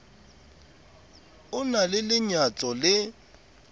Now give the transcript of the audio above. o na le lenyatso le